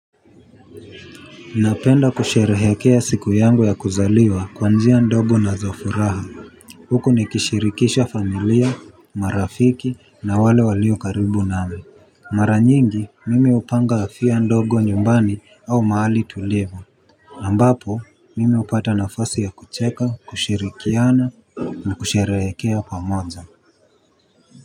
Napenda kusherehekea siku yangu ya kuzaliwa kwa njia ndogo na za furaha. Huku ni kishirikisha familia marafiki na wale walio karibu nami. Mara nyingi mimi upanga afia ndogo nyumbani au maali tulivu ambapo mimi upata nafasi ya kucheka kushirikiana na kusherehekea pamoja.